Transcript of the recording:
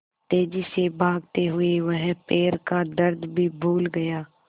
तेज़ी से भागते हुए वह पैर का दर्द भी भूल गया